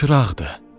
Çılçıraqdır.